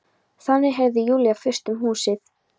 Þannig heyrði Júlía fyrst um húsið.